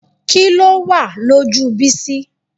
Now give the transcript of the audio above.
Kí ló wà lójú Bísí?